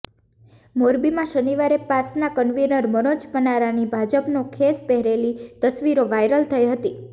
મોરબીમાં શનિવારે પાસના કન્વીનર મનોજ પનારાની ભાજપનો ખેસ પહેરેલી તસવીરો વાયરલ થઈ હતી